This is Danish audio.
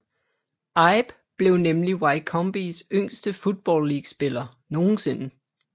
Ibe blev nemlig Wycombes yngste Football League spiller nogensinde